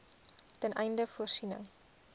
ten einde voorsiening